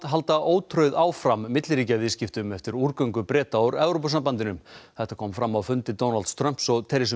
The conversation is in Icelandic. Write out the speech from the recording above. halda ótrauð áfram milliríkjaviðskiptum eftir Breta úr Evrópusambandinu þetta kom fram á fundi Donalds Trumps og